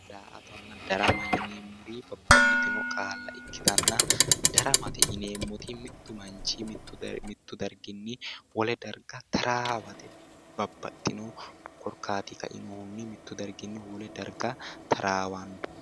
Daa"atanna darama yineemmori babbaxxitinno qaalla ikkitanna. daramate yineemmoti mittu manchi mittu darginni wole darga taraawate. babaxino korkaatinni kainohunni mittu darginni wole darga taarawanno.